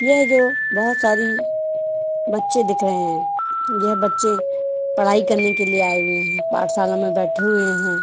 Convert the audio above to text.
यह जो बहुत सारि बच्चे दिख रहे हैं ये बच्चे पढ़ाई करने के लिए आये हुए हैं पाठशाला में बैठे हुए हैं।